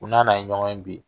Ko n'a n'a ye ɲɔgɔn ye bi